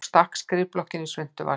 Og stakk skrifblokkinni í svuntuvasann.